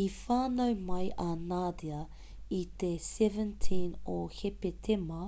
i whānau mai a nadia i te 17 o hepetema